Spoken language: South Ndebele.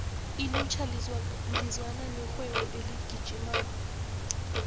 ilutjha lizwana nerhwebo eligijimako